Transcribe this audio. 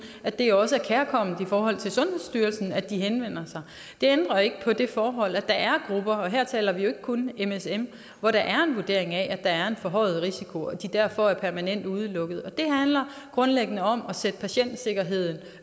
er det også kærkomment for sundhedsstyrelsen at de henvender sig det ændrer ikke på det forhold at der er grupper og her taler vi jo ikke kun msm hvor der er en vurdering af at der er en forhøjet risiko og de derfor permanent er udelukket og det handler grundlæggende om at sætte patientsikkerheden